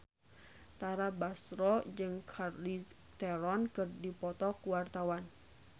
Tara Basro jeung Charlize Theron keur dipoto ku wartawan